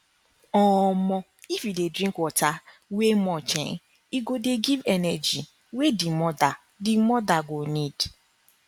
um if you dey drink water we much[um]e go dey give energy wey the mother the mother go need